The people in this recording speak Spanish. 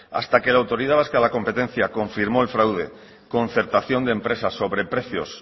hasta que la autoridad vasca de la competencia confirmó el fraude concertación de empresas sobreprecios